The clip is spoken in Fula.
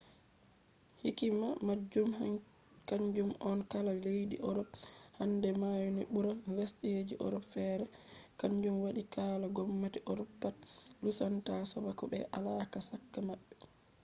hikima majum kanjum on kala leddi europe handai maona bura lesde ji europe fere kanjum wadi kala gomnati europe pat lusunta sobaku be alaka chaka mabbe